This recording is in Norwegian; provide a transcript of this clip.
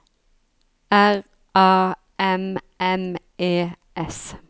R A M M E S